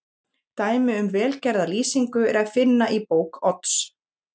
Dæmi um vel gerða lýsingu er að finna í bók Odds